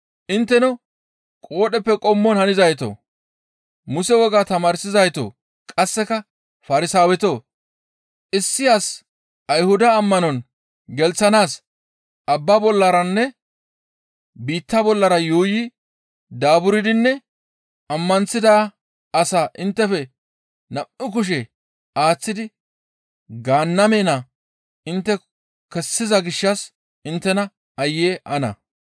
«Intteno qoodheppe qommon hanizaytoo! Muse wogaa tamaarsizaytoo! Qasseka Farsaawetoo! Issi as Ayhuda ammanon gelththanaas abba bollaranne biitta bollara yuuyi daaburdinne ammanththida asaa inttefe nam7u kushe aaththidi Gaanname naa intte kessiza gishshas inttes aayye ana!